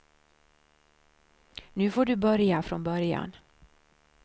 Nu får du börja från början.